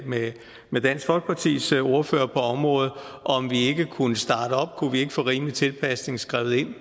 med med dansk folkepartis ordfører på området at kunne vi ikke få rimelig tilpasning skrevet ind